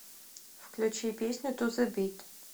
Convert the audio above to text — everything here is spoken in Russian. включи песню ту зе бит